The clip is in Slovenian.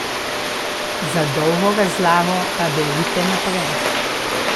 Za dolgo razlago pa berite naprej.